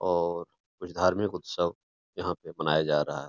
और कुछ धार्मिक उत्सव यहाँ पे बनाया जा रहा है।